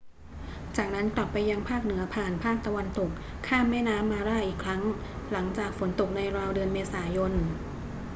จากนั้นกลับไปยังภาคเหนือผ่านภาคตะวันตก ข้ามแม่น้ำมาร่าอีกครั้ง หลังจากฝนตกในราวเดือนเมษายน